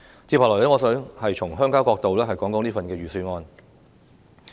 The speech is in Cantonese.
接下來，我想從鄉郊角度談談這份預算案。